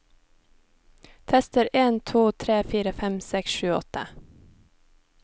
Tester en to tre fire fem seks sju åtte